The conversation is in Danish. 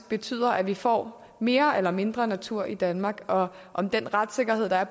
betyder at vi får mere danmark eller mindre natur i danmark og om den retssikkerhed der er